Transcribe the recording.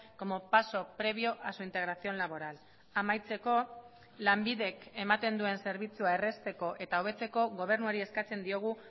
como paso previo a su integración laboral amaitzeko lanbidek ematen duen zerbitzua errazteko eta hobetzeko gobernuari eskatzen diogu